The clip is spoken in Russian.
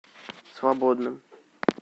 свободным